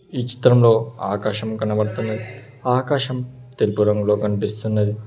ఈ చిత్రంలో ఆకాశము కనబడుతుంది ఆ ఆకాశం తెలుపు రంగులో కనిపిస్తున్నది.